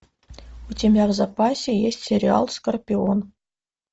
у тебя в запасе есть сериал скорпион